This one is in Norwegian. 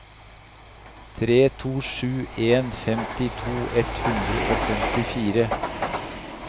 tre to sju en femtito ett hundre og femtifire